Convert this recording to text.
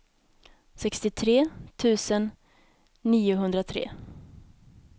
sextiotre tusen niohundratre